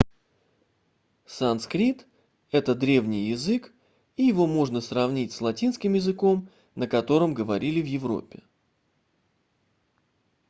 санскрит это древний язык и его можно сравнить с латинским языком на котором говорили в европе